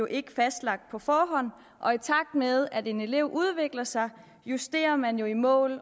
ikke fastlagt på forhånd og i takt med at en elev udvikler sig justerer man jo i mål